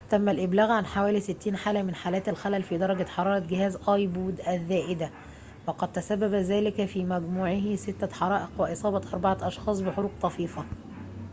تم الإبلاغ عن حوالي 60 حالة من حالات الخلل في درجة حرارة جهاز آي بود الزائدة وقد تسبّب ذلك في ما مجموعه ستة حرائق وإصابة أربعة أشخاص بحروق طفيفة